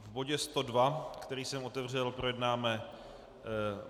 V bodu 102, který jsem otevřel, projednáme